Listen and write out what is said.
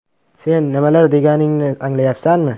Sen nimalar deganingni anglayapsanmi?